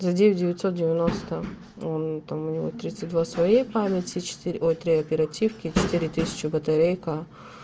за девять девятьсот девяносто он там у него тридцать два своей памяти четыре ой три оперативки и четыре тысячи батарейка